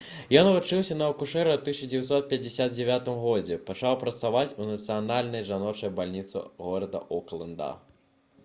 ён вучыўся на акушэра і ў 1959 годзе пачаў працаваць у нацыянальнай жаночай бальніцы горада окленда